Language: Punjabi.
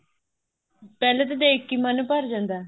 ਪਹਿਲੇ ਤਾਂ ਦੇਖ ਕੇ ਹੀ ਮਨ ਭਰ ਜਾਂਦਾ